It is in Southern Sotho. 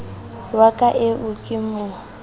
wa ka eo ke mo